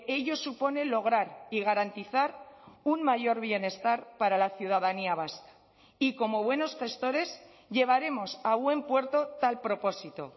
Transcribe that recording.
ello supone lograr y garantizar un mayor bienestar para la ciudadanía vasca y como buenos gestores llevaremos a buen puerto tal propósito